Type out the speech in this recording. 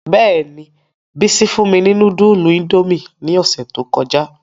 Bẹ́ẹ̀ni, Bisi fun mi ni nudulu Indomie ni ọsẹ to kọja.